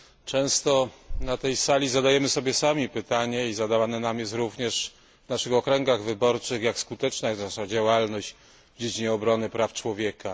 Często na tej sali zadajemy sobie sami pytanie i zadawane nam jest ono również w naszych okręgach wyborczych jak skuteczna jest wasza działalność w dziedzinie obrony praw człowieka?